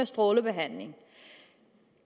strålebehandling